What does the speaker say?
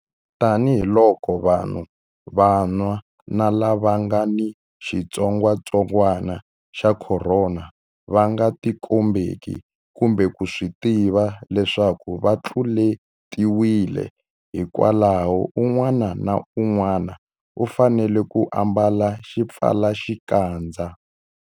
Tanihiloko vanhu vanwa na lava nga ni xitsongwantsongwana xa Khorona va nga tikombeki kumbe ku swi tiva leswaku va tluletiwile, hikwalaho un'wana na un'wana u fanele ku ambala xipfalaxikandza.